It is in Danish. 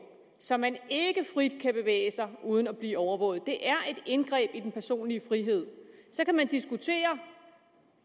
så man ikke frit kan bevæge sig uden at blive overvåget et indgreb i den personlige frihed så kan man diskutere